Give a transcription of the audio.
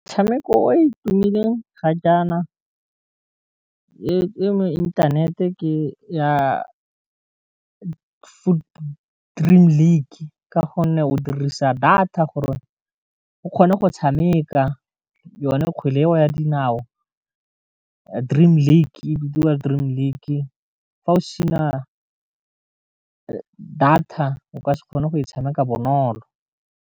Motshameko e tumileng ga jaana e mo inthanete ke ya Dream League ka gonne o dirisa data gore o o kgona go tshameka yone kgwele eo ya dinao Dream League bidiwa Dream League fa o sena data o ka se kgone go e tshameka bonolo.